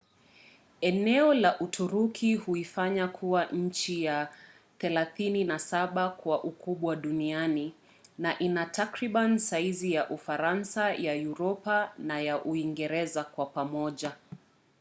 eneo la uturuki huifanya kuwa nchi ya 37 kwa ukubwa duniani na ina takriban saizi za ufaransa ya uropa na uingereza kwa pamoja